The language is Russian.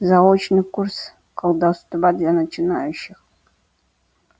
заочный курс колдовства для начинающих